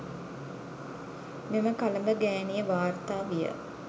මෙම කලබගෑනිය වාර්තා විය